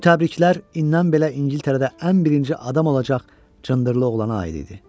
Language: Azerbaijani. Bu təbriklər indən belə İngiltərədə ən birinci adam olacaq cındırlı oğlana aid idi.